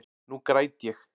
Nú græt ég.